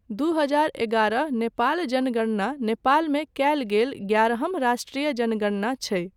दू हजार एगारह नेपाल जनगणना नेपालमे कयल गेल ग्यारहम राष्ट्रिय जनगणना छै।